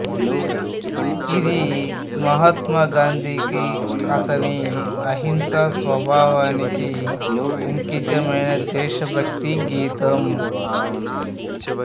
ఇది మహాత్మా గాంధీకి అతని అహింస స్వభావానికి అంకితమైన దేశభక్తి గీతం